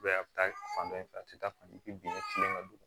a bɛ taa fan dɔ in fɛ a tɛ taa fan kelen fɛ bin ɲɛ kelen ka don